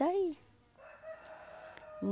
Está aí.